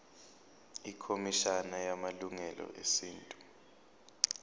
ikhomishana yamalungelo esintu